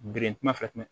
Birikuman fɛnɛ